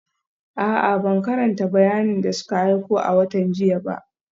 A'a, ban karanta bayanin da suka aiko a watan jiya ba